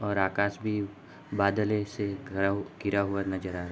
और आकास भी बदले से घरा हु घिरा हुआ नजर आ रहा।